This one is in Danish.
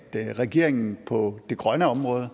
regeringen på det grønne område og